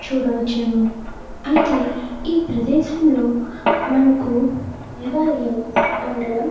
చూడవచ్చును. అయితే ఈ ప్రదేశంలో మనకు దేవాలయం ఉండడం --